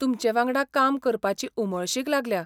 तुमचेवांगडा काम करपाची उमळशीक लागल्या.